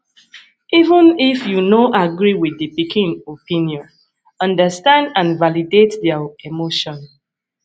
even if you no agree with di pikin opinion understand and validate their emotion